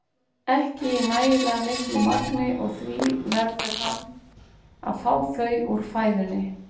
ekki í nægilega miklu magni og því verður hann að fá þau úr fæðunni.